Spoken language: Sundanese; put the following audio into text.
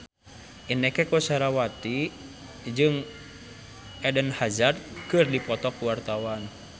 Inneke Koesherawati jeung Eden Hazard keur dipoto ku wartawan